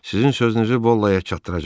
Sizin sözünüzü Bollaya çatdıracam.